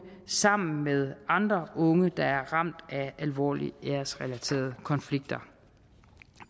sammen med andre unge der er ramt af alvorlige æresrelaterede konflikter